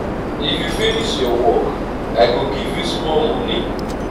if you finish your work i go give you small moni.